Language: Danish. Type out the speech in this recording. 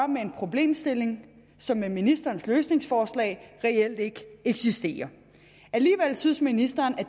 med en problemstilling som med ministerens løsningsforslag reelt ikke eksisterer alligevel synes ministeren